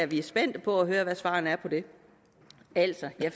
vi er spændte på at høre hvad svarene er på det altså jeg